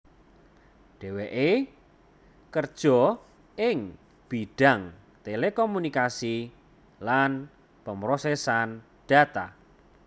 Dheweké kerja ing bidhang telekomunikasi lan pemrosesan data